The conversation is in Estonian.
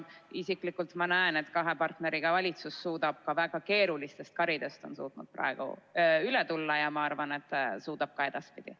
Isiklikult ma näen, et kahe partneriga valitsus on suutnud praegu väga keerulistest karidest üle tulla, ja ma arvan, et suudab seda ka edaspidi.